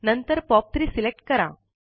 नंतर POP3 select करा